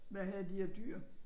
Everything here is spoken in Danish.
Hvad havde de af dyr?